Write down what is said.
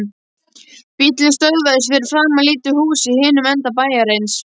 Bíllinn stöðvaðist fyrir framan lítið hús í hinum enda bæjarins.